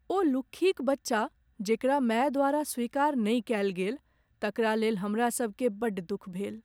ओ लुक्खीक बच्चा जेकरा माय द्वारा स्वीकार नहि कयल गेल तकरा लेल हमरासभकेँ बड़ दुख भेल।